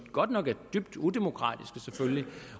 godt nok er dybt udemokratiske